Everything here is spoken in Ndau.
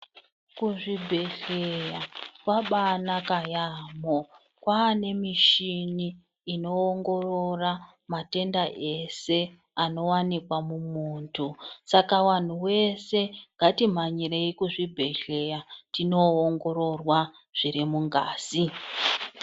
Kuzvibhehleya kwabanaka yamho. Kwane mishini inoongorora matenda ese anowanikwa mumuntu, saka wanhu wese ngatimhanyirei kuzvibhehleya tinoongororwa zviri mungazi.